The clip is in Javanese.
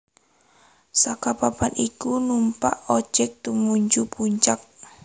Saka papan iku numpak ojek tumuju puncak